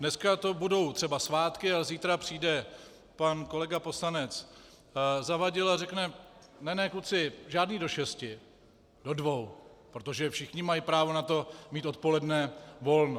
Dneska to budou třeba svátky a zítra přijde pan kolega poslanec Zavadil a řekne: Ne ne, kluci, žádný do šesti, do dvou, protože všichni mají právo na to mít odpoledne volno.